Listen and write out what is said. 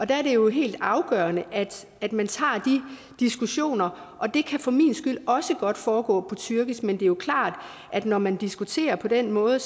der er det jo helt afgørende at man tager de diskussioner og det kan for min skyld også godt foregå på tyrkisk men det er klart at når man diskuterer på den måde